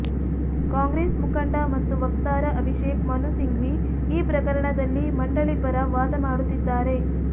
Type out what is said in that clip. ಕಾಂಗ್ರೆಸ್ ಮುಖಂಡ ಮತ್ತು ವಕ್ತಾರ ಅಭಿಷೇಕ್ ಮನು ಸಿಂಘ್ವಿ ಈ ಪ್ರಕರಣದಲ್ಲಿ ಮಂಡಳಿ ಪರ ವಾದ ಮಾಡುತ್ತಿದ್ದಾರೆ